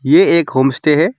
यह एक home stay है।